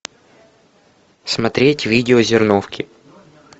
смотреть видео зерновки